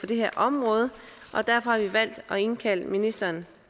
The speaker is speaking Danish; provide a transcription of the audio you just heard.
det her område og derfor har vi valgt at indkalde ministeren